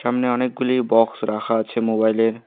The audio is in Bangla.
সামনে অনেকগুলি বক্স রাখা আছে মোবাইলের ।